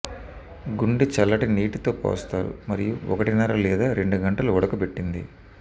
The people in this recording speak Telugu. గుండె చల్లటి నీటితో పోస్తారు మరియు ఒకటిన్నర లేదా రెండు గంటలు ఉడకబెట్టింది